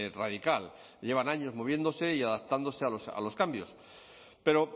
radical llevan años moviéndose y adaptándose a los cambios pero